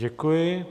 Děkuji.